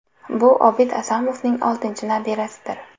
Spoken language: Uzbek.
Bu Obid Asomovning oltinchi nabirasidir.